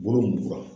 Wolonfula